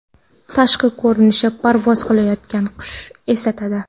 Tashqi ko‘rinishi parvoz qilayotgan qushni eslatadi.